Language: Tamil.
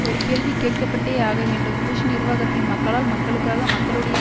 ஒரு கேள்வி கேட்கப்பட்டேயாகவேண்டும் புஷ் நிர்வாகத்தின் மக்களால் மக்களுக்காக மக்களுடைய